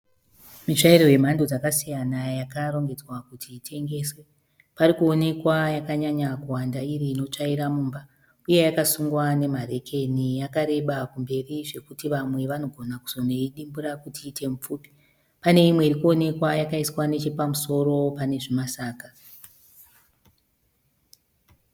Mitsvairo yemhando dzakasiyana yakarongedzwa kuti itengeswe. Parikuonekwa yakanyanya kuwanda iri inotsvaira mumba. Uye yakasungwa nema rekeni. Yakareba kumberi zvekuti vamwe vanogona kuzonoidimbura kuti iite mipfupi. Pane imwe irikuonekwa yakaiswa neche pamusoro pane zvima saga.